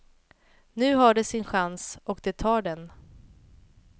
Nu har de sin chans och de tar den.